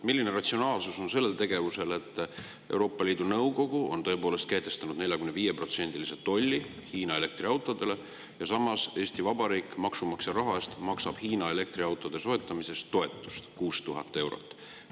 Milline ratsionaalsus on sellel tegevusel, et Euroopa Liidu Nõukogu on tõepoolest kehtestanud 45%‑lise tolli Hiina elektriautodele, aga samas maksab Eesti Vabariik maksumaksja raha eest ka Hiina elektriautode soetamise puhul 6000 eurot toetust?